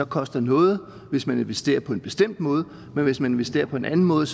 koster noget hvis man investerer på en bestemt måde men hvis man investerer på en anden måde